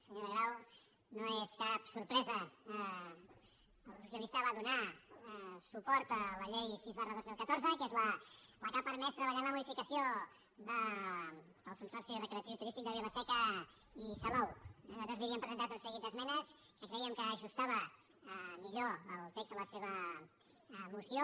senyora grau no és cap sorpresa el grup socialista va donar suport a la llei sis dos mil catorze que és la que ha per·mès treballar en la modificació del consorci recreatiu i turístic de vila·seca i salou eh nosaltres li havíem presentat un seguit d’esmenes que crèiem que ajusta·ven millor el text de la seva moció